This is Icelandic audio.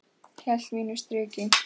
Hélt mínu striki.